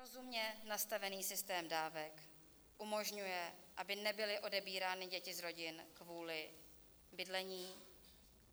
Rozumně nastavený systém dávek umožňuje, aby nebyly odebírány děti z rodin kvůli bydlení.